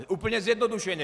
Úplně zjednodušeně.